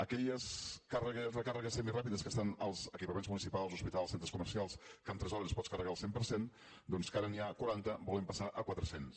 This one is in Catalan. aquelles recàrregues semiràpides que estan als equipaments municipals hospitals centres comercials que en tres hores pots carregar el cent per cent doncs que ara n’hi ha quaranta volem passar a quatre cents